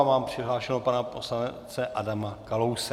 A mám přihlášeného pana poslance Adama Kalouse.